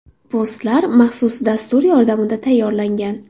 Postlar maxsus dastur yordamida tayyorlangan.